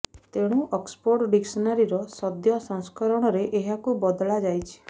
ତେଣୁ Oxford dictionary ର ସଦ୍ୟ ସଂସ୍କରଣରେ ଏହାକୁ ବଦଳାଯାଇଛି